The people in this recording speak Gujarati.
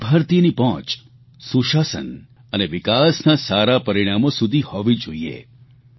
દરેક ભારતીયની પહોંચ સુશાસન અને વિકાસના સારા પરિણામો સુધી હોવી જોઇએ